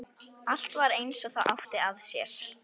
Allt var eins og það átti að sér.